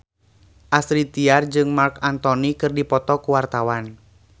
Astrid Tiar jeung Marc Anthony keur dipoto ku wartawan